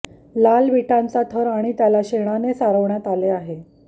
लाल विटांचा थर आणि त्याला शेणाने सारवण्यात आले आहे